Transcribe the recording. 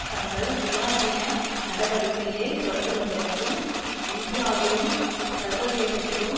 தங்கள் சுயாதீன நடவடிக்கையை தொடங்குவதற்கு இந்தியாவிலும் சர்வதேசத்திலும்